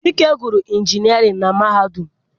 Chike gụrụ injinịarịn na mahadum.